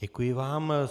Děkuji vám.